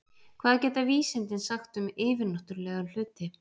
Hvað geta vísindin sagt um yfirnáttúrlega hluti?